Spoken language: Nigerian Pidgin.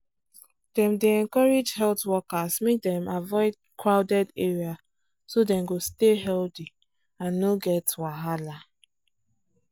dem dey encourage health workers make dem avoid crowded area so dem go stay healthy and no get wahala